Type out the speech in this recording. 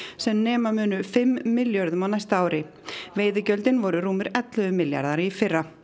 sem nema munu fimm milljörðum á næsta ári veiðigjöldin voru rúmir ellefu milljarðar í fyrra